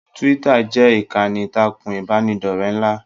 Twitter jẹ ìkànnì ìtàkùn ìbánidọ̀rẹ̀ nla.